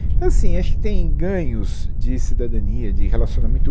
Então, assim, acho que tem ganhos de cidadania, de relacionamento.